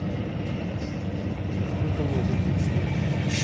сколько мне это будет стоить